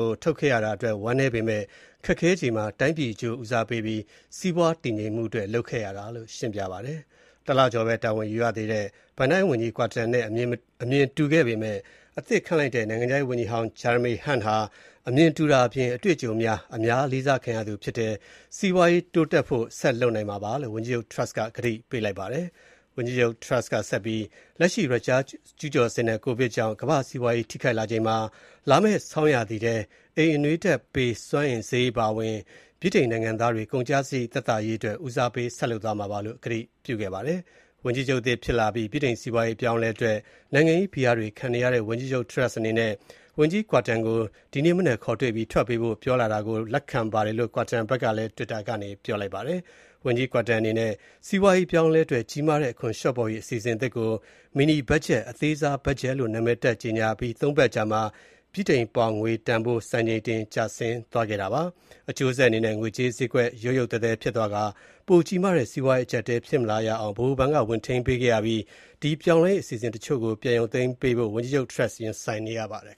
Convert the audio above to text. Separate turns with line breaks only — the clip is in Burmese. ို ထုတ်ခဲ့ရတာအတွက် ဝမ်းနည်းပေမယ့် ခက်ခဲချိန်မှာ တိုင်းပြည်အကျိုးဦးစားပေးပြီး စီးပွားတည်ငြိမ်မှုအတွက် ကိုင်တွယ်ခဲ့ရတာလို့ ရှင်းပြပါတယ်။ တလကျော်ပဲတာဝန်ယူရသေးတဲ့ ဝန်ကြီး Kwarteng နဲ့ အမြင်တူခဲ့ပေမယ့် အသစ်ခန့်လိုက်တဲ့ နိုင်ငံခြားရေးဝန်ကြီးဟောင်း Jeremy Hunt ဟာ အမြင်တူတာအပြင် ပိုပြီးအတွေ့အကြုံရှိ အများလေးစားခံရသူဖြစ်တဲ့အတွက် စီးပွားရေးတိုးတက်ဖို့ ဆက်လုပ်နိုင်မှာပါလို့ ဝန်ကြီးချုပ် Truss က ဆိုပါတယ်။ ဝန်ကြီးချုပ် Truss က လက်ရှိ ရုရှားကျုးကျော်စစ်နဲ့ ကိုဗစ်ကြောင့် ကမ္ဘာ့စီးပွားရေးထိခိုက်လာချိန်၊ လာမဲ့ဆောင်းရာသီ အိမ်အနွေးဓာတ်ပေးစွမ်းအင်ဈေးအပါအဝင် နိုင်ငံသားတွေ ကုန်ကျစရိတ်သက်သာရေးအတွက် ဦးစားပေးလုပ်ဆောင်သွားမှာပါလို့ ကတိပြုခဲ့ပါတယ်။ ဝန်ကြီးချုပ်သစ်ဖြစ်လာအပြီး ဗြိတိန်စီးပွားရေး အပြောင်းအလဲအတွက် နိုင်ငံရေးဖိအားတွေခံနေရတဲ့ ဝန်ကြီးချုပ် Truss အနေနဲ့ ဝန်ကြီး Kwarteng ကို ဒီနေ့မနက်ခေါ်တွေ့ပြီး ထွက်ပေးဖို့ မေတ္တာရပ်ခံတာကို လက်ခံပါတယ်လို့ Kwarteng ကလည်း တွစ်တာကနေပြောလိုက်ပါတယ်။ ဝန်ကြီး Kwarteng အနေနဲ့ စီးပွားရေးအပြောင်းအလဲအတွက် ကြီးမားတဲ့ အခွန်လျော့ပေါ့ရေး အစီအစဉ်သစ်ကို Mini budget အသေးစားဘတ်ဂျက်လို့ နာမည်တပ်ကြေညာအပြီး ၃ ပတ်အကြာမှာ ဗြိတိန်ပေါင်ငွေတန်ဖိုး စံချိန်တင် ကျဆင်းသွားခဲ့ပါတယ်။ အကျိုးဆက်အနေနဲ့ ငွေကြေးဈေးကွက် ရုတ်ရုတ်သဲသဲဖြစ်သွားပြီး ပိုကြီးမားတဲ့ စီးပွားရေးအကြပ်အတည်းမဖြစ်လာရအောင် ဗဟိုဘဏ်က ဝင်ထိန်းပေးခဲ့ရအပြီး ဒီပြောင်းလဲရေးအစီအစဉ်တချို့ကို ပြန်ရုပ်သိမ်းပေးဖို့ ဝန်ကြီးချုပ် Turss ရင်ဆိုင်နေရပါတယ်